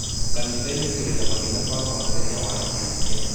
kanitha-inĩ tũrĩ na mami na baba mũthenya wa Kiumia.